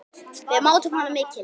Við mátum hana mikils.